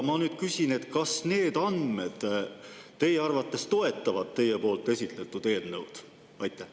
Ma küsin: kas need andmed teie arvates toetavad teie esitatud eelnõu?